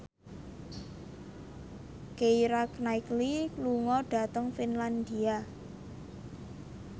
Keira Knightley lunga dhateng Finlandia